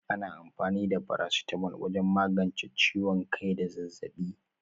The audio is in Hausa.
Ana amfani da farasitamol wajen magance ciwon kai da zazzaɓi.